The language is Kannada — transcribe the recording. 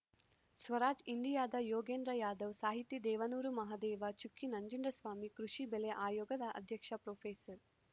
ಸ್ವರಾಜ್‌ ಇಂಡಿಯಾದ ಯೋಗೇಂದ್ರ ಯಾದವ್‌ ಸಾಹಿತಿ ದೇವನೂರು ಮಹಾದೇವ ಚುಕ್ಕಿ ನಂಜುಂಡಸ್ವಾಮಿ ಕೃಷಿ ಬೆಲೆ ಆಯೋಗದ ಅಧ್ಯಕ್ಷ ಪ್ರೊಫೆಸರ್